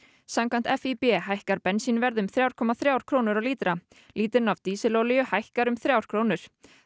samkvæmt FÍB hækkar bensínverð um þrjá komma þrjár krónur á lítra lítrinn af dísilolíu hækkar um þrjár krónur